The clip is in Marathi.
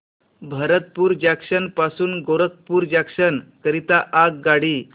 भरतपुर जंक्शन पासून गोरखपुर जंक्शन करीता आगगाडी